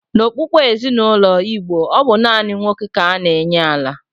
N'okpukpe ezinaụlọ Igbo, ọ bụ naanị nwa nwoke ka a na-enye ala.